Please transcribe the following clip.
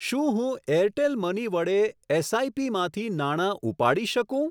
શું હું Airtel money વડે એસઆઈપી માંથી નાણા ઉપાડી શકું ?